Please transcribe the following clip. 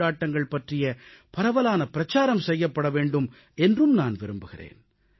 கொண்டாட்டங்கள் பற்றிய பரவலான பிரச்சாரம் செய்யப்பட வேண்டும் என்றும் நான் விரும்புகிறேன்